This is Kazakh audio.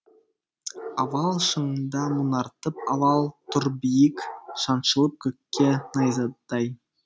авал шыңында мұнартып авал тұр биік шаншылып көкке найзадай